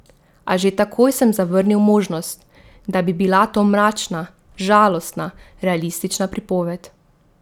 A že takoj sem zavrnil možnost, da bi bila to mračna, žalostna realistična pripoved.